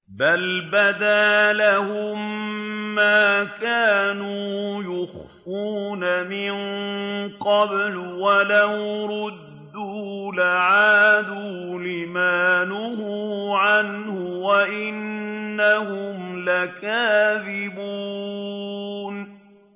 بَلْ بَدَا لَهُم مَّا كَانُوا يُخْفُونَ مِن قَبْلُ ۖ وَلَوْ رُدُّوا لَعَادُوا لِمَا نُهُوا عَنْهُ وَإِنَّهُمْ لَكَاذِبُونَ